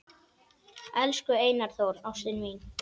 Elsku Einar Þór, ástin mín